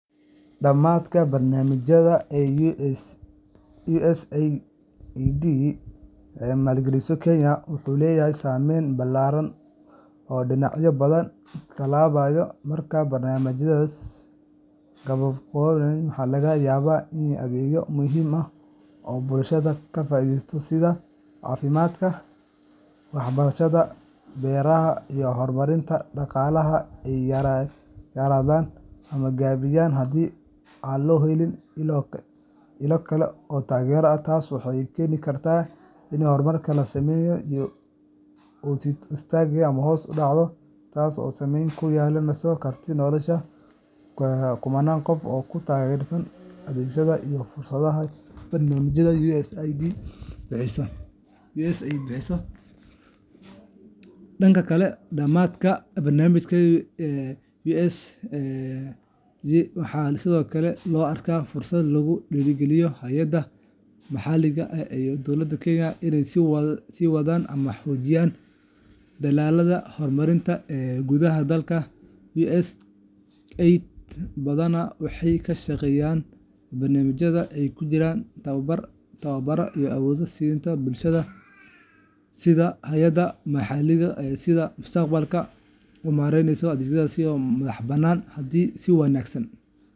Dhamaadka barnaamijyada ay USAID maalgeliso Kenya wuxuu leeyahay saameyn ballaaran oo dhinacyo badan taabanaya. Marka barnaamijyadaasi gabagaboobaan, waxaa laga yaabaa in adeegyo muhiim ah oo bulshada ka faa’iidaysatay sida caafimaadka, waxbarashada, beeraha, iyo horumarinta dhaqaalaha ay yaraadaan ama gaabiyaan, haddii aan loo helin ilo kale oo taageero ah. Taas waxay keeni kartaa in horumarkii la sameeyay uu istaago ama hoos u dhaco, taas oo saamayn ku yeelan karta nolosha kumanaan qof oo ku tiirsanaa adeegyadaas iyo fursadaha barnaamijyada USAID bixiyaan. Dhanka kale, dhamaadka barnaamijyada USAID waxaa sidoo kale loo arkaa fursad lagu dhiirrigeliyo hay’adaha maxalliga ah iyo dowlada Kenya inay sii wadaan ama xoojiyaan dadaallada horumarineed ee gudaha dalka. USAID badanaa waxay ka shaqeysaa in barnaamijyadeeda ay ku jiraan tababarro iyo awood-siinta bulshada iyo hay’adaha maxalliga ah si ay mustaqbalka u maareeyaan adeegyada si madax-bannaan. Haddii si wanaagsan .